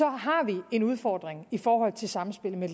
har vi en udfordring i forhold til samspillet med